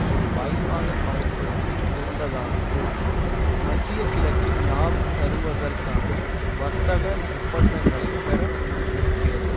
ஒரு வாய்பாக பயன்படுத்தி கொண்டதானது மத்திய கிழக்கில் லாபம் தருவதற்கான வர்த்தக ஒப்பந்தங்களை பெற முடிந்திருக்கிறது